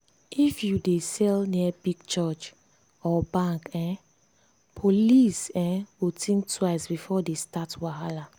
if you dey sell near big church or bank um police um go think twice before they start wahala.